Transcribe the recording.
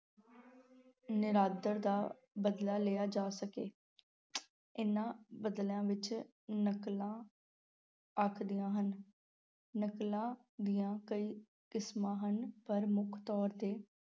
ਨਿਰਾਦਰ ਦਾ ਬਦਲਾ ਲਇਆ ਜਾ ਸਕੇ ਇਹਨਾਂ ਬਦਲਿਆਂ ਵਿੱਚ ਨਕਲਾਂ ਆਖਦੀਆਂ ਹਨ, ਨਕਲਾਂ ਦੀਆਂ ਕਈ ਕਿਸਮਾਂ ਹਨ, ਪਰ ਮੁੱਖ ਤੌਰ 'ਤੇ